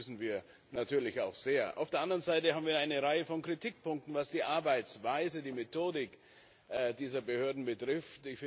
Das begrüßen wir natürlich auch sehr. Auf der anderen Seite haben wir eine Reihe von Kritikpunkten, was die Arbeitsweise, die Methodik dieser Behörden betrifft.